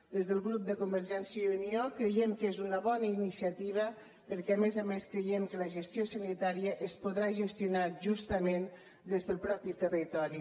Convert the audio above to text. des del grup de convergència i unió creiem que és una bona iniciativa perquè a més a més creiem que la gestió sanitària es podrà gestionar justament des del mateix territori